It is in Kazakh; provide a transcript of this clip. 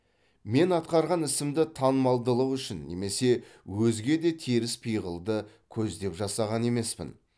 мен атқарған ісімді танымалдылық үшін немесе өзге де теріс пиғылды көздеп жасаған емеспін